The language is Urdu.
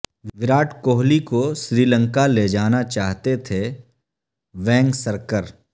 وراٹ کوہلی کو سری لنکا لے جانا چاہتے تھے وینگسرکر